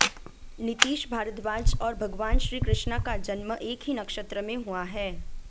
नितीश भारद्वाज और भगवान श्री कृष्णा का जन्म एक ही नक्षत्र में हुआ है